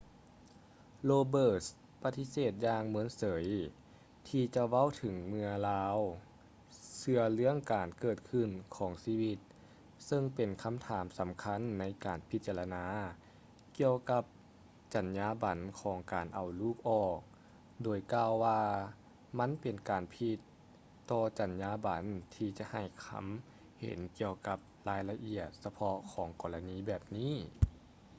roberts ປະຕິເສດຢ່າງເມີນເສີຍທີ່ຈະເວົ້າເຖິງເມື່ອລາວເຊື່ອເລື່ອງການເກີດຂຶ້ນຂອງຊີວິດເຊິ່ງເປັນຄຳຖາມສຳຄັນໃນການພິຈາລະນາກ່ຽວກັບຈັນຍາບັນຂອງການເອົາລູກອອກ ໂດຍກ່າວວ່າມັນເປັນການຜິດຕໍ່ຈັນຍາບັນທີ່ຈະໃຫ້ຄຳເຫັນກ່ຽວກັບລາຍລະອຽດສະເພາະຂອງກໍລະນີແບບນີ້